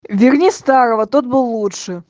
верни старого тот был лучше